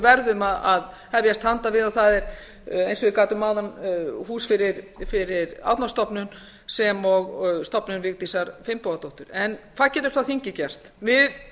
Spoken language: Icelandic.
og við verum að hefjast hand við það er eins og ég gat um áðan hús fyrir árnastofnun sem og stofnun vigdísar finnbogadóttur hvað getur þingið gert við